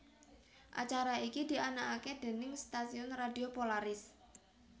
Acara iki dianakake déning stasiun radio Polaris